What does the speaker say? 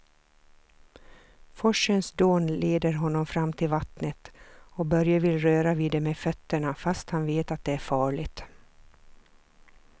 Forsens dån leder honom fram till vattnet och Börje vill röra vid det med fötterna, fast han vet att det är farligt.